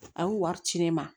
A y'u wari ci ne ma